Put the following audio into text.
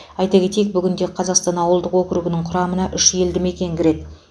айта кетейік бүгінде қазақстан ауылдық округінің құрамына үш елді мекен кіреді